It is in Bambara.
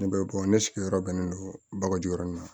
Ne bɛ ne sigiyɔrɔ bɛnnen do bakɔju in ma